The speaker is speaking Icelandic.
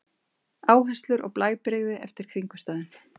Áherslur og blæbrigði eftir kringumstæðum.